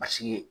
Paseke